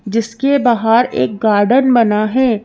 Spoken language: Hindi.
जिसके बाहर एक गार्डन बना है।